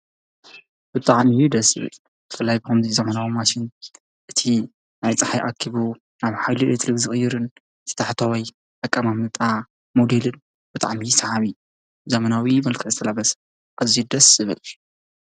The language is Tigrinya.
ብጣዕሚ እዩ ደሰ ዝብል ብፍላይ ከመዚ ዘበናዊ ማሽን እቲ ሓይሊ ፃሓይ ኣኪቡ ናብ ሓይሊ ኤሌክትሪክ ዝቅይርን ታሕተዋይ ኣቃማምጣ ሞዲልን ብጣዕም አዩ ሳሓብ ዘበናዊን መልከዑ ሰራሕ ኣዚዩ ደሰ ዝበል::